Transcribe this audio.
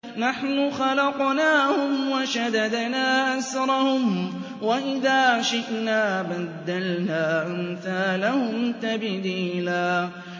نَّحْنُ خَلَقْنَاهُمْ وَشَدَدْنَا أَسْرَهُمْ ۖ وَإِذَا شِئْنَا بَدَّلْنَا أَمْثَالَهُمْ تَبْدِيلًا